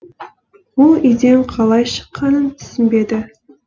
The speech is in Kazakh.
ол үйден қалай шыққанын түсінбеді